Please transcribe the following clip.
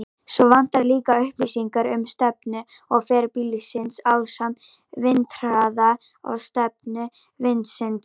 Svo vantar líka upplýsingar um stefnu og ferð bílsins ásamt vindhraða og stefnu vindsins.